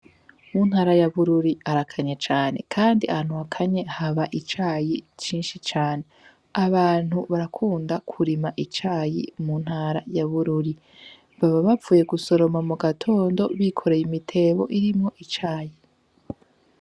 Muntara yabururi arakanye cane, kandi antwakanye haba icayi cinshi cane abantu barakunda kurima icayi mu ntara yabururi baba bavuye gusoroma mu gatondo bikoreye imitebo irimwo icayi.